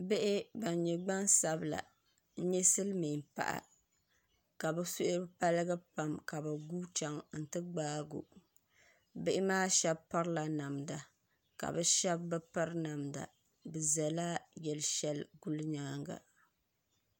Bihi ban nyɛ gbansabila n nyɛ silmiin paɣa ka bi suhu paligi pam ka bi guui chɛŋ n ti gbaago bihi maa shab pirila namda ka bi shab bi piri namda bi ʒɛla yili shɛli guli nyaanga